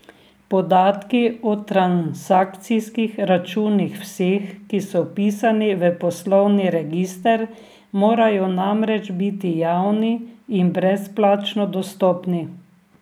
Podatki o transakcijskih računih vseh, ki so vpisani v poslovni register, morajo namreč biti javni in brezplačno dostopni.